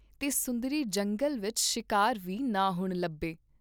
ਸੁੰਦਰੀ ਜੰਗਲ ਵਿਚ ਸ਼ਿਕਾਰ ਵੀ ਨਾ ਹੁਣ ਲੱਭੇ।